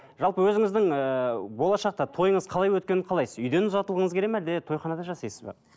жалпы өзіңіздің ыыы болашақта тойыңыз қалай өткенін қалайсыз үйден ұзатылғыңыз келеді ме әлде тойханада жасайсыз ба